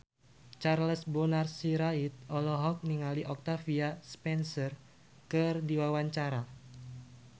Charles Bonar Sirait olohok ningali Octavia Spencer keur diwawancara